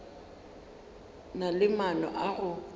na le maano a go